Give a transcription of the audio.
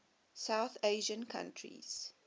south asian countries